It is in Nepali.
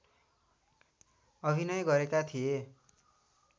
अभिनय गरेका थिए